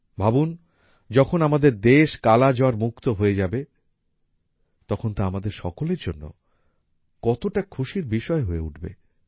ভাবুন যখন আমাদের দেশ কালা জ্বর মুক্ত হয়ে যাবে তখন তা আমাদের সকলের জন্য কতটা খুশির বিষয় হয়ে উঠবে